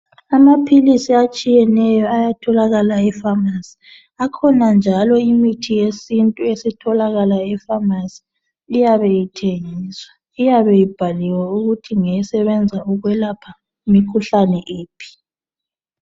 Amaphilisi atshiyeneye ayatholakala efamasi, ikhona njalo imithi yesintu esitholakala efamasi iyabe ithengiswa , iyabe ibhaliwe ukuthi ngesebenza ukwelapha imikhuhlane yiphi.